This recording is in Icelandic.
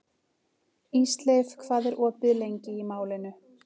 Ísleif, hvað er opið lengi í Málinu?